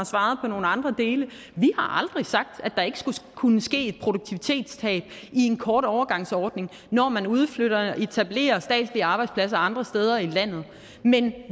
svaret på nogle andre dele vi har aldrig sagt at der ikke skulle kunne ske et produktivitetstab i en kort overgangsordning når man udflytter og etablerer statslige arbejdspladser andre steder i landet men